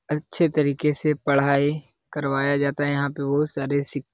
अच्छे तरीके से पढाई करवाया जाता है यहाँ पे बहुत सारे सिक --